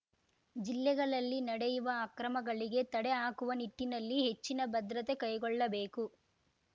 ಜಿಲ್ಲೆಗಳಲ್ಲಿ ನಡೆಯುವ ಅಕ್ರಮಗಳಿಗೆ ತಡೆ ಹಾಕುವ ನಿಟ್ಟಿನಲ್ಲಿ ಹೆಚ್ಚಿನ ಭದ್ರತೆ ಕೈಗೊಳ್ಳಬೇಕು